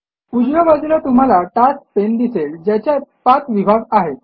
उजव्या बाजूला तुम्हाला टास्क पाने दिसेल ज्याच्यात ५ विभाग आहेत